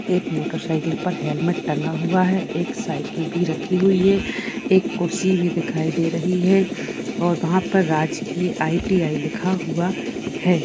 एक motorcycle पर helmet टंगा हुवा है। एक साइकिल भी रखी हुई है। एक कुर्सी भी दिखाई दे रही है और वहां पर राजकीय आई.टी.आई. लिखा हुआ है।